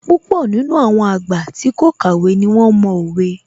Púpọ̀ nínú àwọn àgbà tí kò kàwé ní wón mo òwe